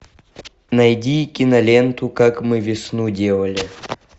найди киноленту как мы весну делали